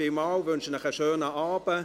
Ich wünsche Ihnen einen schönen Abend.